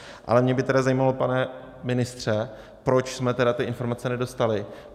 Ale mě by tedy zajímalo, pane ministře, proč jsme tedy ty informace nedostali.